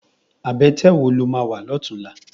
Abètè wó ló má wá lòtúnlá?